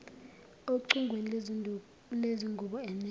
ocingweni lwezingubo eneka